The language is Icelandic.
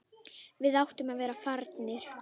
Við áttum að vera farnir.